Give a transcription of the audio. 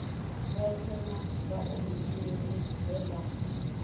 vhoṱhe na vhaofisiri vhe vha